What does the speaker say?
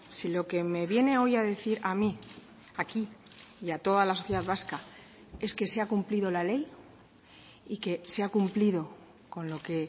si lo que me viene hoy a decir a mí aquí y a toda la sociedad vasca es que se ha cumplido la ley y que se ha cumplido con lo que